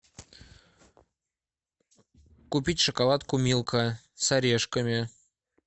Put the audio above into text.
купить шоколадку милка с орешками